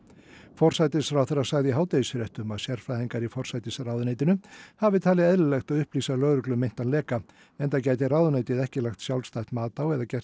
forsætisráðherra sagði í hádegisfréttum að sérfræðingar í forsætisráðuneytinu hafi talið eðlilegt að upplýsa lögreglu um meintan leka enda geti ráðuneytið ekki lagt sjálfstætt mat á eða gert